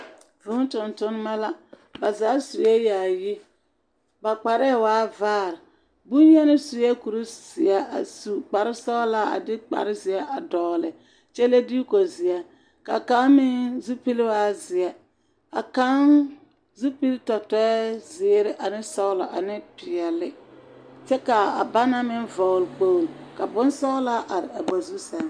Vũũ tontonema la. Ba zaa sue yaayi. Ba kparɛɛ waa vaare. Boŋyeni sue kurizeɛ a su kparesɔgelaa a de kparezeɛ a dɔgele kyɛ le diiko zeɛ ka kaŋ meŋ zupilwaa zeɛ, a kaŋ zupil tɔtɔɛ zeere ane sɔglɔ ane peɛle kyɛ kaa a banaŋ meŋ vɔgele kpogli ka bonsɔglaa are a ba zu sɛŋ.